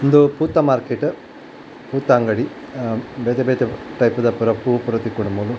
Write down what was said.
ಉಂದು ಪೂತ ಮಾರ್ಕೆಟ್ ಪೂತ ಅಂಗಡಿ ಅಹ್ ಬೇತೆ ಬೇತೆ ಟೈಪುದ ಪೂರ ಪೂ ಪುರ ತಿಕ್ಕುಂಡು ಮೂಲು.